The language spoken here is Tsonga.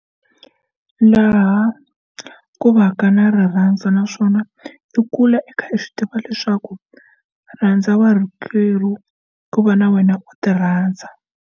Laha ku va ka na rirhandzu naswona i kula e kha i swi tiva leswaku rhandza va rhuketeriwa ku va na wena u ti rhandza.